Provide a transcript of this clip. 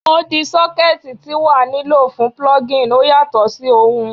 Odi sockets ti wa ni lo fun plugging o yatọ si ohun